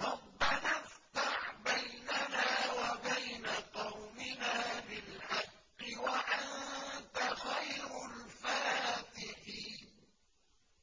رَبَّنَا افْتَحْ بَيْنَنَا وَبَيْنَ قَوْمِنَا بِالْحَقِّ وَأَنتَ خَيْرُ الْفَاتِحِينَ